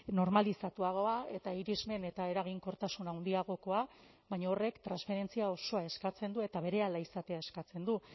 normalizatuagoa eta irismen eta eraginkortasun handiagokoa baina horrek transferentzia osoa eskatzen du eta berehala izatea eskatzen du